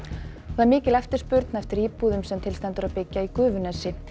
mikil eftirspurn er eftir íbúðum sem til stendur að byggja í Gufunesi